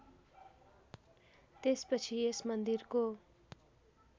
त्यसपछि यस मन्दिरको